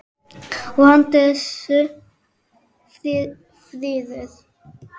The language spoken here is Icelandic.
Og handan þess: friður.